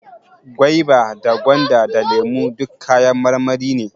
Gwaiba da gwanda, da lemo duk kayan marmari ne